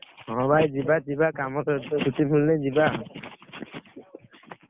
ହଁ ଭାଇ ଯିବା, ଯିବା, କାମତ ଏଠୁ ଛୁଟି ମିଳୁନାହିଁ ଯିବା ଆଉ,